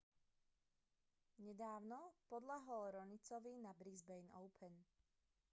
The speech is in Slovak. nedávno podľahol raonicovi na brisbane open